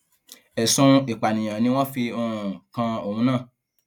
ẹsùn ìpànìyàn ni wọn fi um kan òun náà